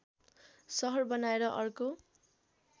सहर बनाएर अर्को